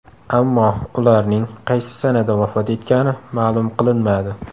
Ammo ularning qaysi sanada vafot etgani ma’lum qilinmadi.